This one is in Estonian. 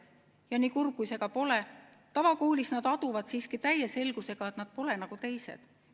Ja nii kurb kui see ka pole, tavakoolis nad aduvad siiski täie selgusega, et nad pole nagu teised.